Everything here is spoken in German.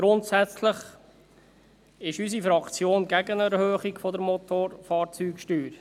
Grundsätzlich ist unsere Fraktion gegen eine Erhöhung der Motorfahrzeugsteuern.